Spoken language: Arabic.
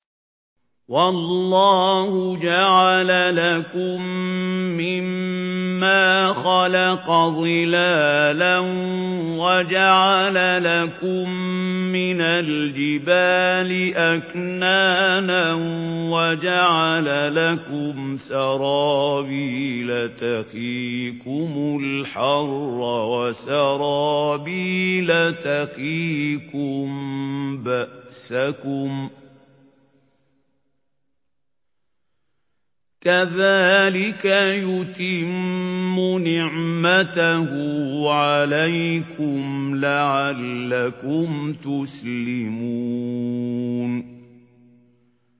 وَاللَّهُ جَعَلَ لَكُم مِّمَّا خَلَقَ ظِلَالًا وَجَعَلَ لَكُم مِّنَ الْجِبَالِ أَكْنَانًا وَجَعَلَ لَكُمْ سَرَابِيلَ تَقِيكُمُ الْحَرَّ وَسَرَابِيلَ تَقِيكُم بَأْسَكُمْ ۚ كَذَٰلِكَ يُتِمُّ نِعْمَتَهُ عَلَيْكُمْ لَعَلَّكُمْ تُسْلِمُونَ